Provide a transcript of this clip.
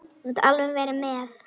Þú mátt alveg vera með.